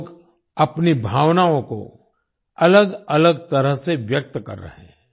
लोग अपनी भावनओं को अलग अलग तरह से व्यक्त कर रहे हैं